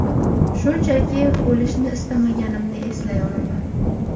Shunchaki, o‘lishni istamaganimni eslay olaman.